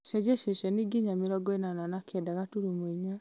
cenjia ceceni nginya mĩrongo ĩnana na kenda gaturumo inya